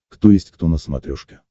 кто есть кто на смотрешке